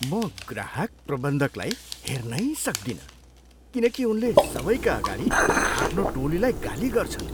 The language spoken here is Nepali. म ग्राहक प्रबन्धकलाई हेर्नै सक्दिनँ किनकि उनले सबैका अगाडि आफ्नो टोलीलाई गाली गर्छन्।